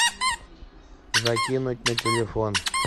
закинуть на телефон